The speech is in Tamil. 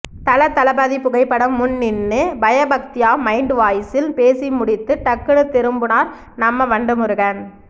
தலதளபதி புகைப்படம் முன் நின்னு பயபக்தியா மைன்ட் வாய்ஸில் பேசி முடித்து டக்குன்னு திரும்புனார் நம்ம வண்டு முருகன்